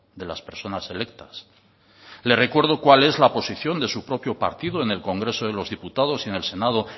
de las personas electas le recuero cuál es la posición de su propio partido en el congreso de los diputados